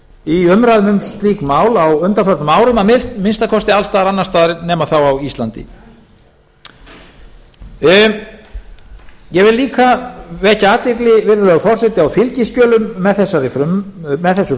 í umræðu um slík mál á undanförnum árum að minnsta kosti alls staðar annars staðar nema þá á íslandi ég vil líka vekja athygli virðulegi forseti á fylgiskjölum með þessu